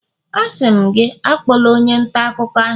Asị m gị, akpọla onye nta akụkọ ahụ!